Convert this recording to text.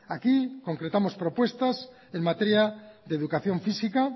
aquí concretamos propuestas en materia de educación física